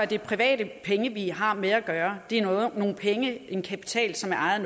det er private penge vi har med at gøre det er nogle penge en kapital som er ejet